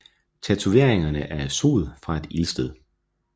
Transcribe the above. Tatoveringerne er af sod fra et ildsted